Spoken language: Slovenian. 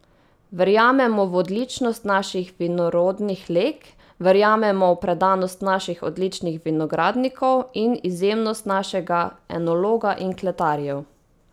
Verjamemo v odličnost naših vinorodnih leg, verjamemo v predanost naših odličnih vinogradnikov in izjemnost našega enologa in kletarjev.